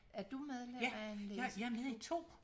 Er du medlem af en læseklub?